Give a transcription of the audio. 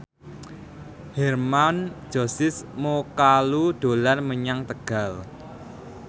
Hermann Josis Mokalu dolan menyang Tegal